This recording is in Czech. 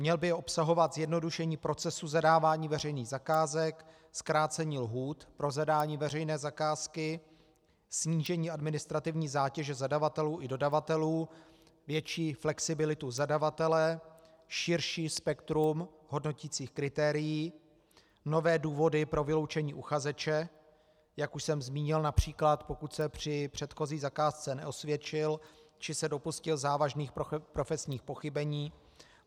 Měl by obsahovat zjednodušení procesu zadávání veřejných zakázek, zkrácení lhůt pro zadání veřejné zakázky, snížení administrativní zátěže zadavatelů i dodavatelů, větší flexibilitu zadavatele, širší spektrum hodnoticích kritérií, nové důvody pro vyloučení uchazeče, jak už jsem zmínil, například pokud se při předchozí zakázce neosvědčil či se dopustil závažných profesních pochybení.